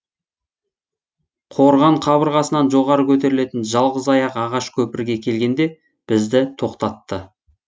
қорған қабырғасынан жоғары көтерілетін жалғыз аяқ ағаш көпірге келгенде бізді тоқтатты